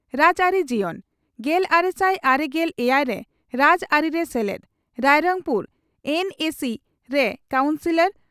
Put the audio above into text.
ᱨᱟᱡᱽᱟᱹᱨᱤ ᱡᱤᱭᱚᱱ ᱺ ᱜᱮᱞᱟᱨᱮᱥᱟᱭ ᱟᱨᱮᱜᱮᱞ ᱮᱭᱟᱭ ᱨᱮ ᱨᱟᱡᱽᱟᱹᱨᱤᱨᱮ ᱥᱮᱞᱮᱫ ᱾ᱨᱟᱭᱨᱚᱝᱯᱩᱨ ᱮᱱᱹᱮᱹᱥᱤᱹ ᱨᱮ ᱠᱟᱣᱩᱱᱥᱤᱞᱚᱨ